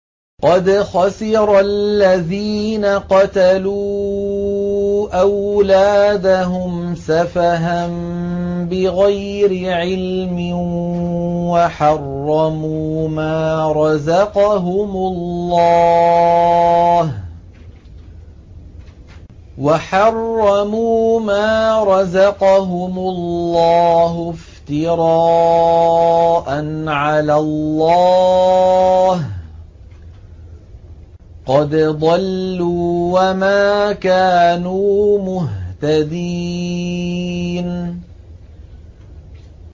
قَدْ خَسِرَ الَّذِينَ قَتَلُوا أَوْلَادَهُمْ سَفَهًا بِغَيْرِ عِلْمٍ وَحَرَّمُوا مَا رَزَقَهُمُ اللَّهُ افْتِرَاءً عَلَى اللَّهِ ۚ قَدْ ضَلُّوا وَمَا كَانُوا مُهْتَدِينَ